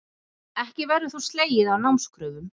Ekki verður þó slegið af námskröfum